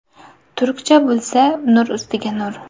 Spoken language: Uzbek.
Turkcha bilsa, nur ustiga nur.